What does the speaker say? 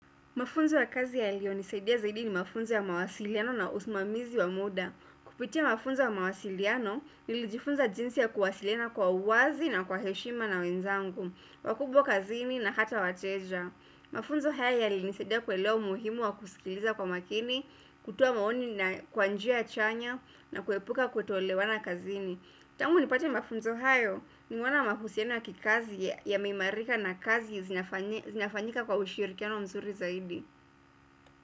Mafunzo ya kazi yaliyo nisaidia zaidi ni mafunzo ya mawasiliano na usimamizi wa muda. Kupitia mafunzo ya mawasiliano, nilijifunza jinsi ya kuwasiliana kwa uwazi na kwa heshima na wenzangu, wakubwa kazini na hata wateja. Mafunzo haya yaliniisaidia kuelewa umuhimu wa kusikiliza kwa makini, kutoa maoni na kwa njia chanya na kuepuka kuteolewana kazini. Tangu nipate mafunzo hayo nimeona mahusiano ya kikazi yameimarika na kazi zinafanyi zinafanyika kwa ushirikiano mzuri zaidi.